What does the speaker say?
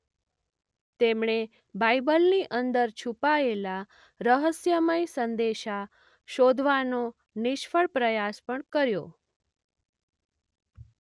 તેમણે બાઇબલની અંદર છુપાયેલા રહસ્યમય સંદેશા શોધવાનો નિષ્ફળ પ્રયાસ પણ કર્યો.